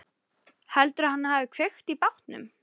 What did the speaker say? Heldurðu að hann hafi kveikt í bátnum?